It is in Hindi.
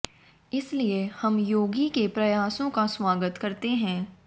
इसलिए हम योगी के प्रयासों का स्वागत करते हैं